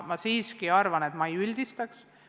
Ma siiski nii erinevaid olukordi ei üldistaks.